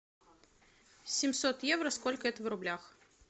семьсот евро сколько это в рублях